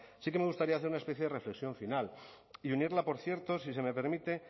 sí que me gustaría hacer una especie de reflexión final y unirla por cierto si se me permite